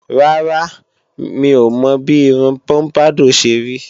Rárá, mi ò mọ bí irun pọ́mpádọ̀ ṣe rí